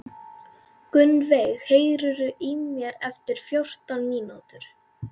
Gunnveig, heyrðu í mér eftir fjórtán mínútur.